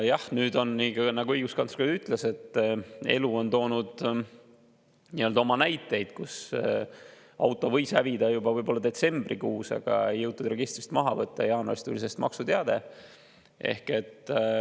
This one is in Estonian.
Jah, nüüd on nii, nagu õiguskantsler ütles, et elu on toonud näiteid, et auto võis hävida juba võib-olla detsembrikuus, aga seda ei jõutud registrist maha võtta ja jaanuaris tuli selle eest maksuteade.